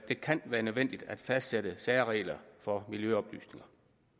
det kan være nødvendigt at fastsætte særregler for miljøoplysninger